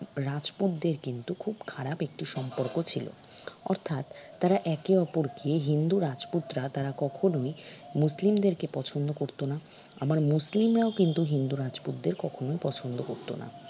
রাজপুত দের কিন্তু খুব খারাপ একটি সম্পর্ক ছিল অর্থাৎ তারা একে অপরকে হিন্দু রাজপুতরা তারা কখনই মুসলিমদেরকে পছন্দ করত না আবার মুসলিমরাও কিন্তু হিন্দু রাজপুতদের কখনই পছন্দ করত না